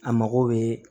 A mago bɛ